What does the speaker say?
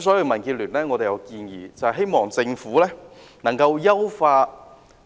所以，民建聯建議政府優化